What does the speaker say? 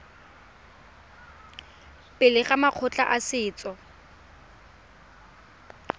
pele ga makgotla a setso